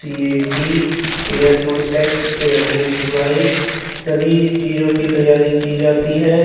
TAT air force X air force Y सभी चीजों की तैय्यारी की जाती है।